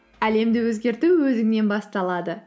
әлемді өзгерту өзіңнен басталады